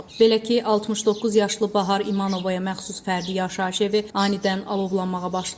Belə ki, 69 yaşlı Bahar İmanovaya məxsus fərdi yaşayış evi anidən alovlanmağa başlayıb.